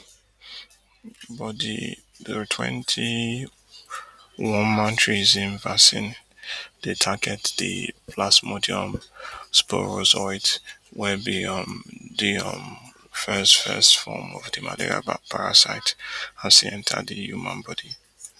but di twenty-onematrixm vaccine dey target di plasmodium sporozoite wey be um di um first first form of di malaria parasite as e enta di human body